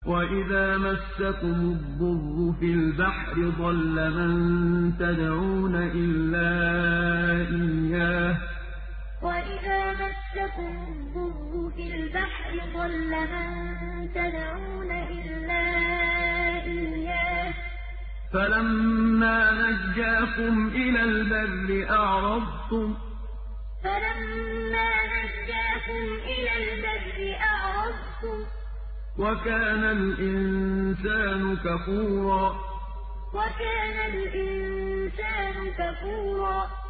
وَإِذَا مَسَّكُمُ الضُّرُّ فِي الْبَحْرِ ضَلَّ مَن تَدْعُونَ إِلَّا إِيَّاهُ ۖ فَلَمَّا نَجَّاكُمْ إِلَى الْبَرِّ أَعْرَضْتُمْ ۚ وَكَانَ الْإِنسَانُ كَفُورًا وَإِذَا مَسَّكُمُ الضُّرُّ فِي الْبَحْرِ ضَلَّ مَن تَدْعُونَ إِلَّا إِيَّاهُ ۖ فَلَمَّا نَجَّاكُمْ إِلَى الْبَرِّ أَعْرَضْتُمْ ۚ وَكَانَ الْإِنسَانُ كَفُورًا